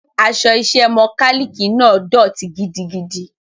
Aṣọ iṣẹ́ mọkálíìkì náà dọ̀tí gidigidi.